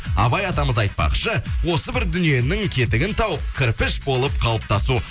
абай атамыз айтпақшы осы бір дүниенің кетігін тауып кірпіш болып қалыптасу